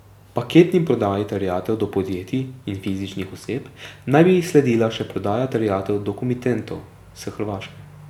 Paketni prodaji terjatev do podjetij in fizičnih oseb naj bi sledila še prodaja terjatev do komitentov s Hrvaške.